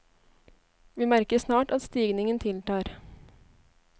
Vi merker snart at stigningen tiltar.